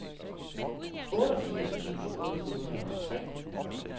otteogfirs tusind otte hundrede og tre